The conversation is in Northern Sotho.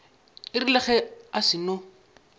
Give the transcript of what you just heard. e rile ge a seno